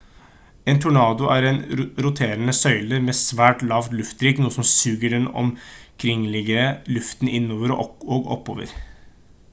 en tornado er en roterende søyle med svært lav trykkluft noe som suger den omkringliggende luften innover og oppover